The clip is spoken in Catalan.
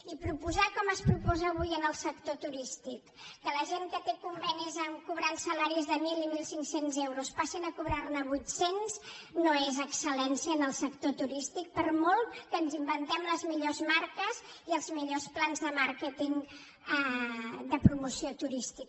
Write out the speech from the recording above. i proposar com es proposa avui al sector turístic que la gent que té convenis en què cobra salaris de mil i mil cinc cents euros passi a cobrar ne vuit cents no és excel·lència en el sector turístic per molt que ens inventem les millors marques i els millors plans de màrqueting de promoció turística